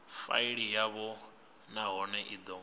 faili yavho nahone i do